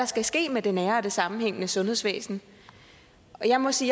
skal ske med det nære og det sammenhængende sundhedsvæsen og jeg må sige